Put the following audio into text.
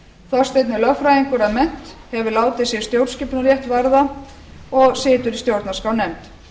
þorsteinn er lögfræðingur að mennt hefur látið sig stjórnskipunarrétt varða og situr í stjórnarskrárnefnd